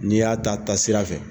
N'i y'a ta taasira fɛ